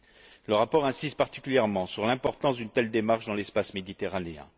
Il insiste particulièrement sur l'importance d'une telle démarche dans l'espace méditerranéen.